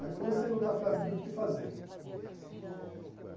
Aí comecei a lutar pela vida, ver o que fazer.